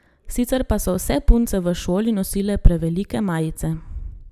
Sicer pa so vse punce v šoli nosile prevelike majice.